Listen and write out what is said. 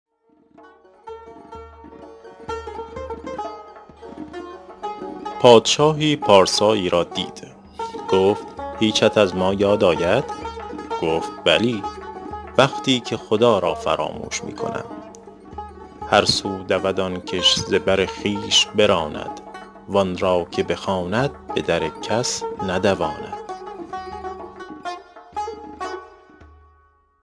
پادشاهی پارسایی را دید گفت هیچت از ما یاد آید گفت بلی وقتی که خدا را فراموش می کنم هر سو دود آن کش ز بر خویش براند وآن را که بخواند به در کس ندواند